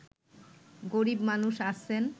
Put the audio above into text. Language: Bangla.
গরীব মানুষ আছেন